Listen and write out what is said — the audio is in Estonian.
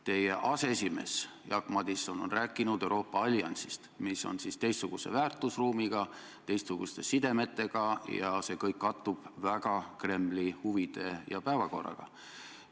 Teie erakonna aseesimees Jaak Madison on rääkinud Euroopa alliansist, mis on teistsuguse väärtusruumiga ja teistsuguste sidemetega ning see kõik kattub väga Kremli huvide ja päevakorraga.